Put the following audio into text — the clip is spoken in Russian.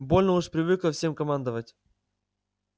больно уж привыкла всем командовать